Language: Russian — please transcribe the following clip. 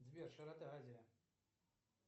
сбер широта азия